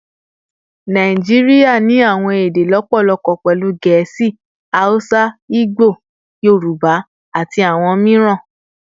Naijiria ni awọn ede lọpọlọpọ, pẹlu Gẹẹsi, Hausa, Igbo, Yoruba, ati awọn miiran